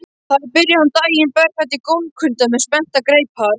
Þar byrjaði hún daginn berfætt í gólfkulda með spenntar greipar.